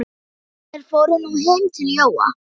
Þeir fóru nú heim til Jóa.